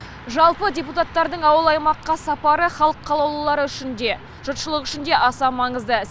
жалпы депутаттардың ауыл аймаққа сапары халық қалаулылары үшін де жұртшылық үшін де аса маңызды